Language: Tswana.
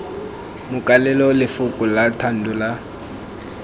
makalela lefoko la thando la